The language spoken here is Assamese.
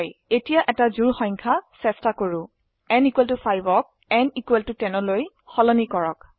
এতিয়া এটি জোড় সংখ্যা চেষ্টা কৰো n 5 ক n 10লৈ সলনি কৰক